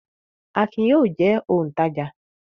Akin yóò jẹ́ òǹtajà!